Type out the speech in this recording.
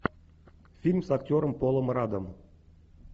фильм с актером полом раддом